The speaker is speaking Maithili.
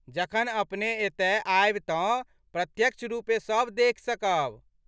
जखन अपने एतय आयब तँ प्रत्यक्ष रुपे सब देखि सकैत छी।